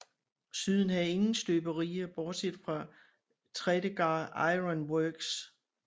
Syden havde ingen støberier bortset fra Tredegar Iron Works